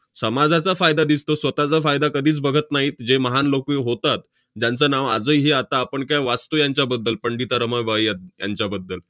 समाजाचा फायदा दिसतो, स्वतःचा फायदा कधीच बघत नाहीत, जे महान लोकं होतात, ज्यांचं नाव आजही आता आपण काय वाचतो यांच्याबद्दल पंडिता रमाबाई यां~ यांच्याबद्दल.